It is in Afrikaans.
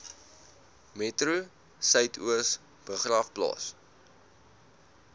metro suidoos begraafplaas